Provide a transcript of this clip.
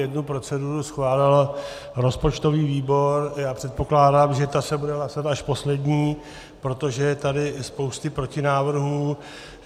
Jednu proceduru schválil rozpočtový výbor, já předpokládám, že ta se bude hlasovat až poslední, protože je tady spousta protinávrhů.